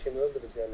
Kimi öldürüb yəni?